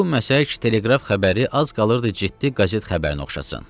Bu məsələ teleqraf xəbəri az qalırdı ciddi qəzet xəbərinə oxşasın.